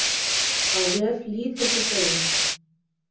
Á vef Lýðheilsustöðvar.